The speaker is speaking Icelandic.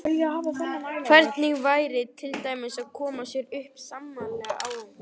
Hvernig væri til dæmis að koma sér upp sameiginlegu áhugamáli?